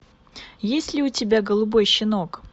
есть ли у тебя голубой щенок